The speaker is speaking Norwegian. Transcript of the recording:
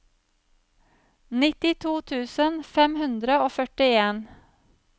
nittito tusen fem hundre og førtien